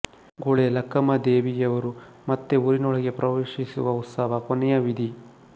ಗುಳೇ ಲಕ್ಕಮ್ಮದೇವಿಯವರು ಮತ್ತೆ ಊರಿನೊಳಗೆ ಪ್ರವೇಶಿಸುವ ಉತ್ಸವ ಕೊನೆಯ ವಿಧಿ